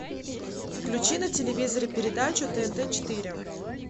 включи на телевизоре передачу тнт четыре